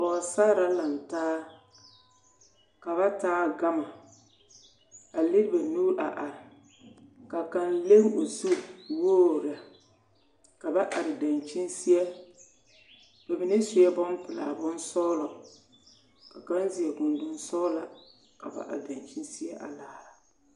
Pɔgesare la laŋ taa ka ba taa gama a lere ba nuuri a are ka kaŋ leŋ o zu wogri lɛ ka ba are dankyini seɛ ba mine sue bompelaa bonsɔglɔ ka kaŋ seɛ gondonsɔglaa ka ba are dankyini seɛ a laara.